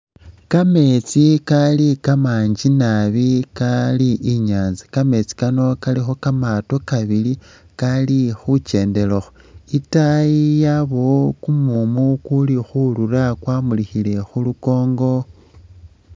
Kameetsi kali kamangi nabi kali i'nyaanza, kameetsi kano kalikho kamaato kabili kali khukendelakho. Itaayi yabayo kumumu kuli khurura kwamulikhile khu lukoongo.